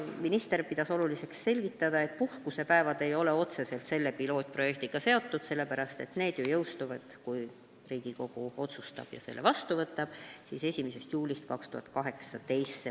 Minister pidas oluliseks selgitada, et puhkusepäevad ei ole otseselt selle pilootprojektiga seotud, sellepärast, et need sätted ju jõustuvad, kui Riigikogu otsustab selle seaduse vastu võtta, 1. juulil 2018.